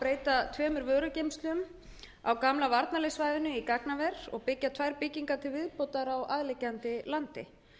breyta tveimur vörugeymslum af gamla varnarliðssvæðinu í gagnaver og byggja tvær byggingar til viðbótar á aðliggjandi landi